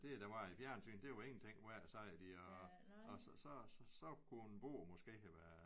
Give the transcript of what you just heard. Det der var i fjernsynet det var ingenting værd sagde de og og så så så kunne en bog måske have været